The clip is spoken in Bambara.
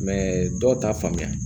dɔw t'a faamuya